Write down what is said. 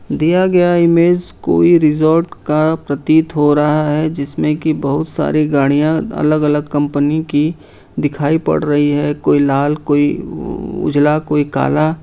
दिया गया इमेज कोई रिसोर्ट का प्रतीत हो रहा है जिसमें की बहुत सारी गाड़ियां अलग अलग कंपनी की दिखाई पड़ रही है कोई लाल कोई उजला कोई काला।